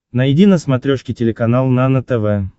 найди на смотрешке телеканал нано тв